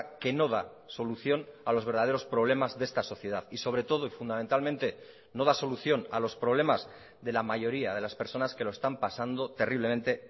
que no da solución a los verdaderos problemas de esta sociedad y sobre todo y fundamentalmente no da solución a los problemas de la mayoría de las personas que lo están pasando terriblemente